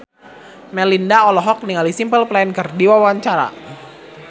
Melinda olohok ningali Simple Plan keur diwawancara